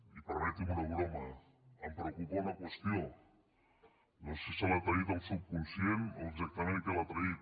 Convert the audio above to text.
i permeti’m una broma em preocupa una qüestió no sé si l’ha traït el subconscient o exactament què l’ha traït